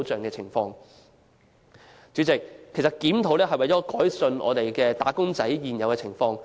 代理主席，檢討勞工法例無非為了改善"打工仔"的工作情況。